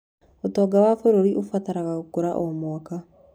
ũtonga wa bũrũri ũbataraga gũkũra o mwaka.